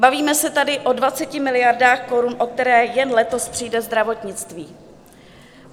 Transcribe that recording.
Bavíme se tady o 20 miliardách korun, o které jen letos přijde zdravotnictví.